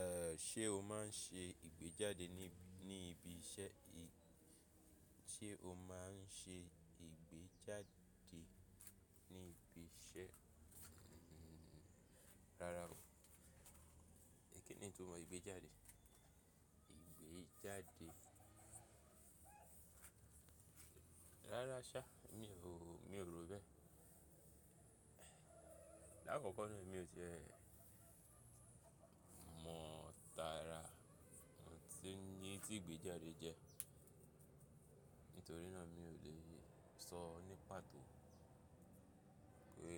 Eh, ṣe o máa n ṣe ìgbéjáde níí, ní ibi iṣẹ́? Ṣe o máa n ṣe ìgbéjáde ní ibi iṣẹ́? Rárá o, kí ni ìtumò ìgbéjàde? Ìgbéjáde. Rárá sá, mi ò, mi ò rò bẹ́ẹ̀. Láàkọ́kọ́ náà, mi ò ti e mọ̀ tara ohun tí, ní ìgbéjáde jẹ́. Nítorí náà mi ò le sọ ní pàtó pé